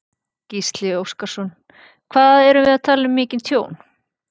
Gísli Óskarsson: Hvað erum við að tala um mikið tjón?